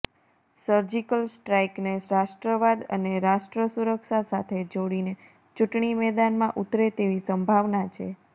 surgical સ્ટ્રાઇકને રાષ્ટ્રવાદ અને રાષ્ટ્ર સુરક્ષા સાથે જોડીને ચૂંટણી મેદાનમાં ઉતરે તેવી સંભાવના છે